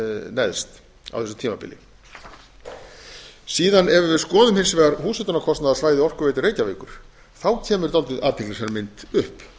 neðst á þessu tímabili síðan ef við skoðum hins vegar húshitunarkostnaðarsvæði orkuveitu reykjavíkur kemur dálítið athyglisverð mynd upp